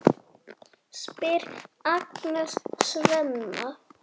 spyr Agnes Svenna.